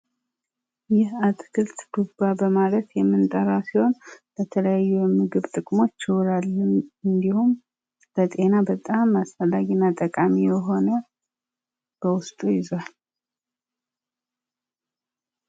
ይህ አትክልት ዱባ በማለት የምንጠራው ሲሆን ለተለያዩ የምግብ ጥቅሞች ይውላሉ። ለጤና በጣም አስፈላጊና ጠቃሚ የሆነ በውስጡ ይዟል